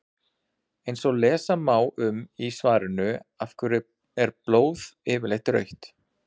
eins og lesa má um í svarinu af hverju er blóð yfirleitt rautt